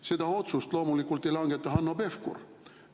Seda otsust loomulikult ei langeta Hanno Pevkur.